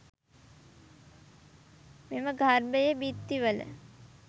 මෙම ගර්භයේ බිත්තිවල